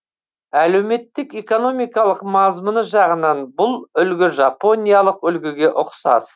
әлеуметтік экономикалық мазмұны жағынан бұл үлгі жапониялық үлгіге ұқсас